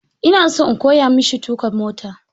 Ina so in koya ma shi tuka mota.